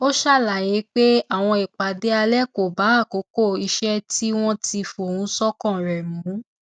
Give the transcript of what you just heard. ó ṣàlàyé pé àwọn ìpàdé alẹ kò bá àkókò iṣẹ tí wọn ti fohùn ṣọkan rẹ mu